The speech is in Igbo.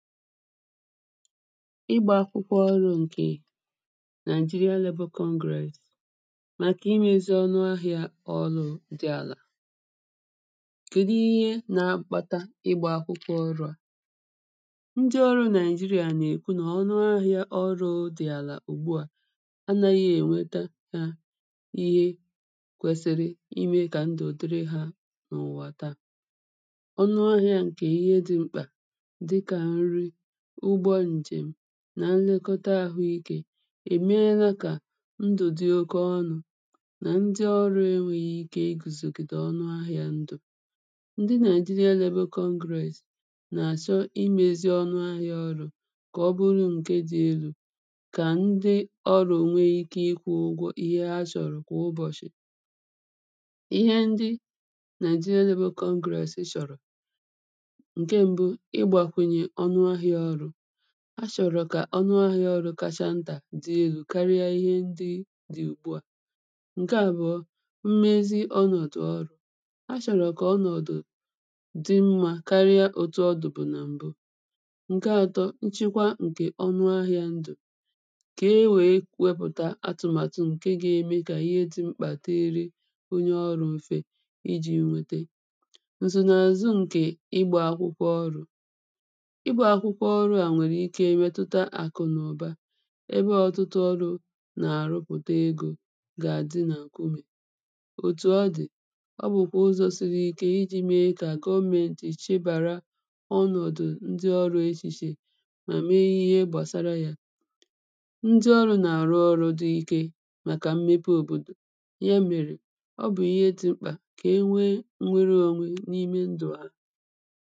Ịgbā akwụkwọ ọrụ̄ ǹkè Nigeria Labour Congress màkà imēzi ọnụ ahị̄ā ọlụ̄ dị̄ àlà. kèdụ ihe na-akpata ịgbā akwụkwọ ọrụ̄ à? ndị ọrụ̄ Nigeria nà-èkwu nà ọnụ ahị̄ā ọrụ̄ dị̀ àlà ùgbu à anāghị èweta hā ihe kwesiri imē kà ndụ̀ dịrị hā n’ụ̀wà ta. ọnụ ahị̄ā ǹkè ihe dị̄ mkpà dị kà nri, ụgbọ ǹjèm, nà nlekọta àhụ ikē èmeela kà ndụ̀ dị oke ọnụ̄ nà ndị ọrụ̄ enwēghị ike igùzògìdè ọnụ ahị̄ā ndụ̀. ndị Nigeria Labour Congress nà-àshọ imēzi ọnụ ahị̄ā ọrụ̄ kà ọ bụrụ ǹke dị̄ elū kà ndị ọrụ̄ nwe ike ịkwụ̄ ụgwọ ihe ha shọ̀rụ̀ kwà ụbọ̀shị̀. ihe ndị Nigeria Labour Congress shọ̀rọ̀ ǹke m̀bụ ịgbàkwùnyè ọnụ ahị̄ā ọrụ̄. ha shọ̀rọ̀ kà ọnụ ahị̄ā ọrụ̄ kasha ntà dị̄ elū karịa ihe ndị dị ùgbu à. ǹke àbụ̀ọ mmezi ọnọ̀dụ̀ ọrụ̄. ha shọ̀rọ̀ kà ọnọ̀dụ̀ dị mmā karịa òtù ọdụ̀bụ̀ nà m̀bụ ǹke atọ, nchekwa ǹkè ọnụ ahị̄ā ndụ̀ kà e wèe wepụ̀ta atụ̀màtụ̀ ǹke ga-eme kà ihe dị̄ mkpà dịịrị onye ọrụ̄ mfe ijī nwete ǹzùnàzụ ǹkè ịgbā akwụkwọ ọrụ̄. ịgbā akwụkwọ ọrụ̄ à nwèrè ike metụta àkụ̀ nà ụ̀ba ebe ọ̀tụtụ ọrụ̄ nà-àrụpụ̀ta egō gà-àdị nà ǹkumè òtù ọ dị̀ ọ bụ̀kwà ụzọ̄ siri ike ijī me kà gọmẹ̄ntì chebàra ọnọ̀dụ̀ ndị ọrụ̄ eshìshè nà me ihe gbàsara yā. ndị ọrụ̄ nà-àrụ ọrụ̄ dị̄ ike màkà mmepe òbòdò ya mèrè ọ bụ̀ ihe dị̄ mkpà kà e nwe nnwere onwe n’ime ndụ̀ ha.